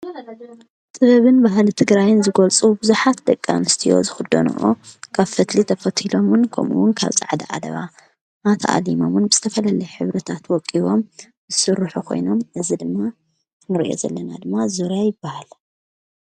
ጥበብን ባህሊ ትግራይ ዝገልፁ ብዙሓት ደቂ ኣንስትዮ ዝኽደንኦ ካብ ፈትሊ ተፈቲሎምን ከምኡውን ካብ ፃዕዳ ዓለባ ተኣሊሞምን ብዝተፈላለየ ሕብርታት ወቂቦምን ዝስርሑ ኮይኖም እዚ ድማ እቲ ንሪኦ ዘለና ድማ ዙርያ ይበሃል፡፡